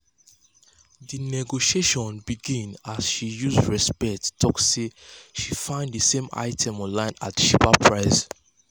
di negotiations begin as she use respect talk say she find d same items online at cheaper price.